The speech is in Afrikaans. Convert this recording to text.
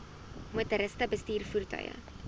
motoriste bestuur voertuie